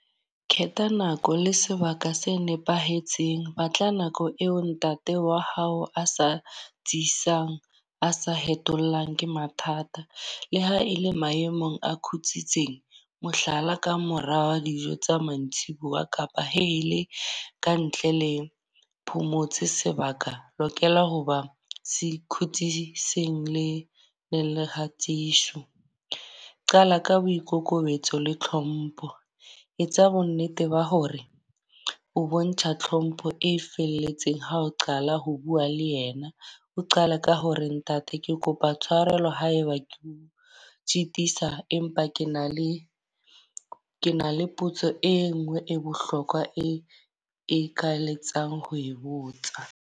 Khetha nako le sebaka se nepahetseng. Batla nako eo ntate wa hao a sa tsitsang, a sa hetollang ke mathata. Le ha e le maemong a khutsitseng. Mohlala, ka mora wa dijo tsa mantsibuya kapa he e le ka ntle le phomotse sebaka. Lokela ho ba e le kgatisho. Qala ka boikokobetso le tlhompho. Etsa bo nnete ba hore o bontsha tlhompho e felletseng. Ha o qala ho bua le yena, o qale ka ho re ntate ke kopa tshwarelo haeba ko o sitisa. Empa ke na le ke na le potso e nngwe e bohlokwa e eka letsang ho e botsa.